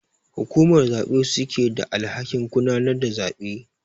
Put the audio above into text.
Hukumar zabe su suke da alhakin gudanar da zabe.